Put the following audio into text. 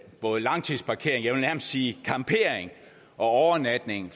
både langtidsparkering jeg vil nærmest sige campering og overnatning